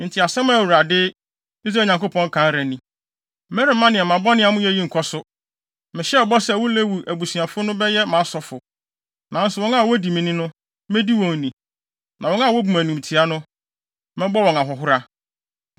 “Enti asɛm a Awurade, Israel Nyankopɔn ka ara ni: ‘Meremma nneɛma bɔne a moreyɛ yi nkɔ so! Mehyɛɛ bɔ sɛ wo Lewi abusuafo no bɛyɛ mʼasɔfo, nanso wɔn a wodi me ni no, medi wɔn ni; na wɔn a wobu me animtiaa no, mɛbɔ wɔn ahohora.